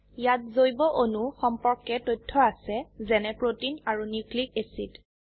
ইয়াত জৈব অণু সম্পৰ্কে তথ্য আছে যেনে প্ৰোটিন আৰু নিউক্লিক অ্যাসিড